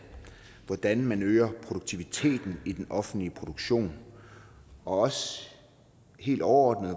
hvordan man øger produktiviteten i den offentlige produktion og helt overordnet